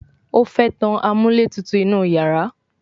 o fè tán amúlétutù inú iyàrá